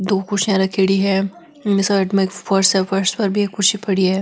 दो कुर्सियां रखेड़ी है बि साइड में एक फर्स है फर्स पर भी एक कुर्सी पड़ी है।